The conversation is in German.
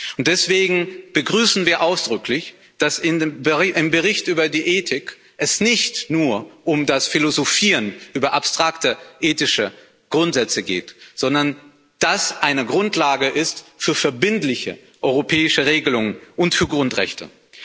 Und deswegen begrüßen wir ausdrücklich, dass es im Bericht über die Ethik nicht nur um das Philosophieren über abstrakte ethische Grundsätze geht, sondern dies eine Grundlage ist für verbindliche europäische Regelungen und für Grundrechte.